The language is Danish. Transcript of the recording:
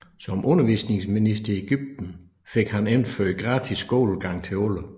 Som undervisningsminister i Egypten fik han indført gratis skolegang til alle